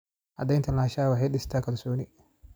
Cadaynta lahaanshaha waxay dhistaa kalsooni.